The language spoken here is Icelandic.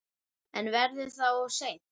En verður það of seint?